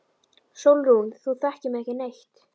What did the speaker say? SÓLRÚN: Þú þekkir mig ekki neitt.